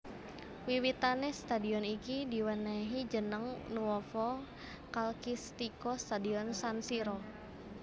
Wiwitane stadion iki diwenehi jeneg Nuovo Calcistico Stadion San Siro